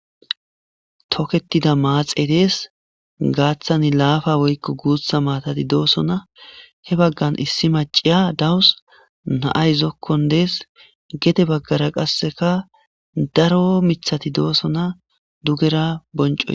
Toketida maaxe dees gaaththani laafa woykko guutha maatati dooso na he baggan issi ma ciya dawus na'ay zokkon dees gete baggara qasseka daro mithati dooso na dugera bonco.